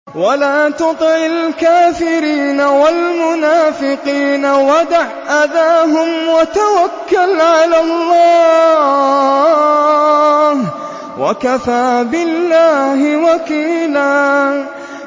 وَلَا تُطِعِ الْكَافِرِينَ وَالْمُنَافِقِينَ وَدَعْ أَذَاهُمْ وَتَوَكَّلْ عَلَى اللَّهِ ۚ وَكَفَىٰ بِاللَّهِ وَكِيلًا